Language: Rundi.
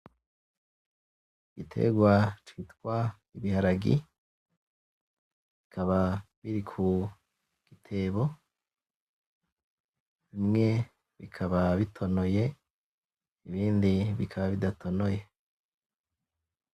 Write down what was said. Igitegwa citwa ibiharagi, bikaba biri kugitebo, bimwe bikaba bitonoye, ibindi bikaba bidatonoye.